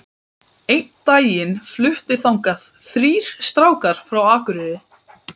Einn daginn fluttu þangað þrír strákar frá Akureyri.